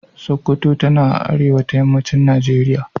Sokoto tana a arewa ta yammacin Najeriya.